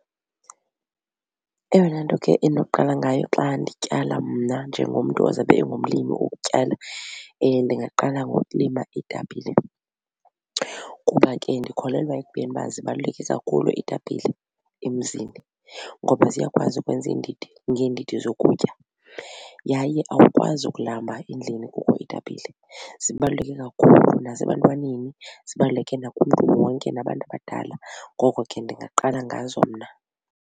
Eyona nto ke endinokuqala ngayo xa ndityala mna njengomntu ozabe engumlimi wokutyala ndingaqala ngokulima iitapile kuba ke ndikholelwa ekubeni uba zibaluleke kakhulu iitapile emzini ngoba ziyakwazi ukwenza iindidi ngeendidi zokutya yaye awukwazi ukulamba endlini kukho iitapile. Zibaluleke kakhulu nasebantwaneni zibaluleke nakumntu wonke nabantu abadala ngoko ke ndingaqala ngazo mna.